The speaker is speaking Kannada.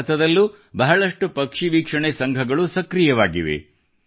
ಭಾರತದಲ್ಲೂ ಬಹಳಷ್ಟು ಪಕ್ಷಿವೀಕ್ಷಣೆ ಸಂಘಗಳು ಸಕ್ರಿಯವಾಗಿವೆ